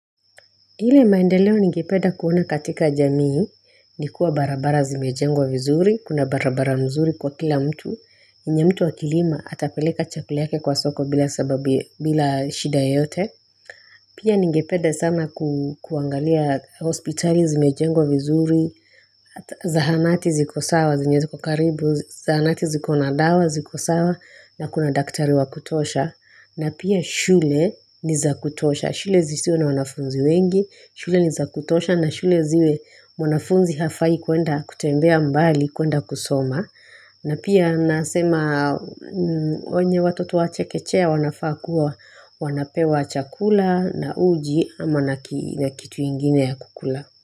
Ile maendeleo ningependa kuona katika jamii ni kuwa barabara zimejengwa vizuri, kuna barabara mzuri kwa kila mtu, yenye mtu akilima atapeleka chakula yake kwa soko bila shida yote. Pia ningepeda sana kuangalia hospitali zimejengwa vizuri, zahanati ziko sawa, zinye ziko karibu, zahanati ziko na dawa, ziko sawa, na kuna daktari wakutosha. Na pia shule ni za kutosha, shule zisiwe na wanafunzi wengi, shule ni za kutosha na shule ziwe mwanafunzi hafai kuenda kutembea mbali, kuenda kusoma. Na pia nasema wenye watoto wa chekechea wanafaa kuwa wanapewa chakula na uji ama na kitu ingine ya kukula.